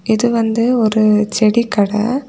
இது வந்து ஒரு செடி கடை.